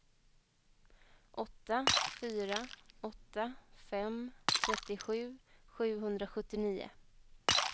åtta fyra åtta fem trettiosju sjuhundrasjuttionio